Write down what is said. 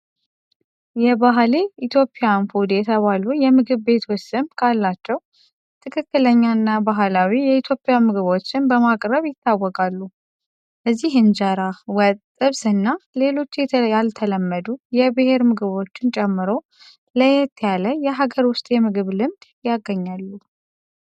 የባህሌ ኢትዮጵያን ፉድ የተባሉ የምግብ ቤቶች ስም ካላቸው፣ ትክክለኛና ባህላዊ የኢትዮጵያ ምግቦችን በማቅረብ ይታወቃሉ። እዚህ እንጀራ፣ ወጥ፣ ጥብስ እና ሌሎች ያልተለመዱ የብሔር ምግቦችን ጨምሮ ለየት ያለ የሀገር ውስጥ የምግብ ልምድ ያገኛሉ።